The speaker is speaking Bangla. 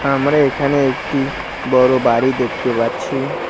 আমরা এখানে একটি বড় বাড়ি দেখতে পাচ্ছি।